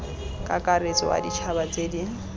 kakaretso wa ditšhaba tse di